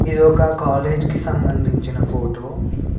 ఇదొక కాలేజ్ కి సంబంధించిన ఫోటో .